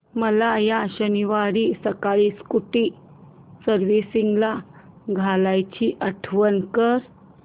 मला या शनिवारी सकाळी स्कूटी सर्व्हिसिंगला द्यायची आठवण कर